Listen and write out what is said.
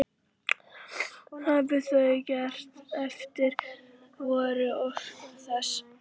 Hafi það gerst hverjar voru orsakir þess?